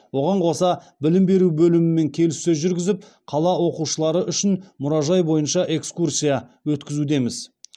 оған қоса білім беру бөлімімен келіссөз жүргізіп қала оқушылары үшін мұражай бойынша экскурсия өткізудеміз